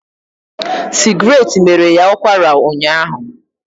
Sigratte mere ya ụkwara ụnyaahụ